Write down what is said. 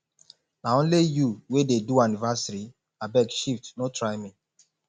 na only you wey dey do anniversary abeg shift no try me